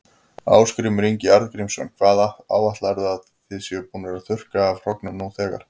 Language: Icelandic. Ásgrímur Ingi Arngrímsson: Hvað áætlarðu að þið séuð búnir að þurrka af hrognum nú þegar?